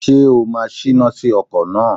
Ṣé o máa Ṣína sí ọkọ̀ náà!